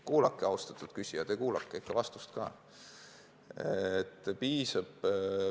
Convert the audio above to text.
Kuulake, austatud küsija, ikka vastust ka!